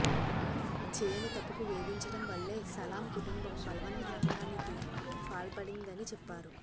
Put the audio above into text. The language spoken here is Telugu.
చేయని తప్పుకు వేధించడం వల్లే సలామ్ కుటుంబం బలవన్మరణానికి పాల్పడిందని చెప్పారు